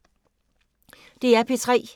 DR P3